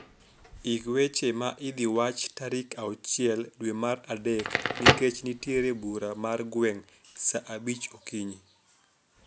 Ik weche ma idhi wach tarik auchiel dwe mar adek nikech nitiere bura margweng' saa abich okinyi.